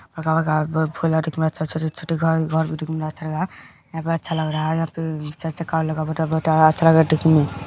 फूल आर कते अच्छा-अच्छा छै छोटे-छोटे घास और भी देखने में अच्छा लग रहा है यहां पर अच्छा लग रहा है अच्छा लग रहा है देखने में।